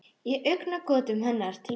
Og í augnagotum hennar til mín.